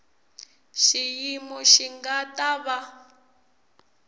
xiyimo xi nga ta va